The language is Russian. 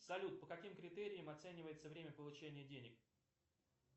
салют по каким критериям оценивается время получения денег